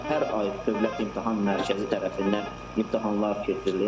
Hər ay Dövlət İmtahan Mərkəzi tərəfindən imtahanlar keçirilir.